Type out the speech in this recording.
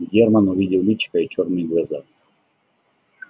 германн увидел личико и чёрные глаза